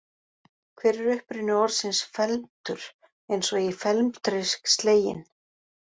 Hver er uppruni orðsins felmtur eins og í felmtri sleginn?